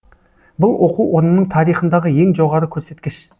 бұл оқу орнының тарихындағы ең жоғары көрсеткіш